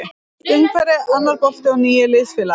Nýtt umhverfi, annar bolti og nýir liðsfélagar.